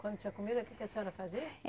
Quando tinha comida, o que que a senhora fazia?